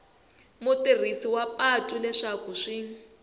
mutirhisi wa patu leswaku swi